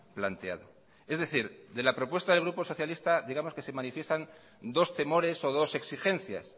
planteado es decir de la propuesta del grupo socialista digamos que se manifiestan dos temores o dos exigencias